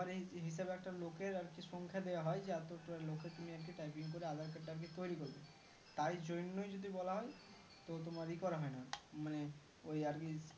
আবার এই হিসাবে একটা লোকের আরকি সংখ্যা দিয়া হয় জাদাতার লোকের তুমি আজকে typing করে aadhar card টাকে তৈরি করবে তাই জন্যেই যদি বলা হয় তো তোমার ইকরা হয়না মানে ওই আরকি